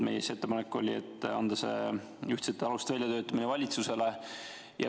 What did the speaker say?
Meie ettepanek oli anda see ühtsete aluste väljatöötamine valitsusele.